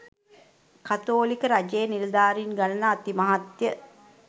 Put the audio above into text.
කතෝලික රජයේ නිළධාරීන් ගණන අති මහත්ය